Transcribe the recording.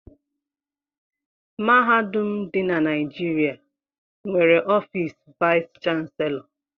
Mahadum dị na Naịjịrịa nwere ọfiisi vaịs chanselọ.